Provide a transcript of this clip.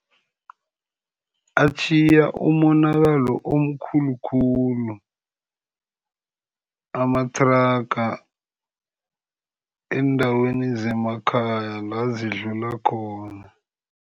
Atjhiye umonakalo omkhulukhulu amathraga eendaweni zemakhaya la zidlula khona.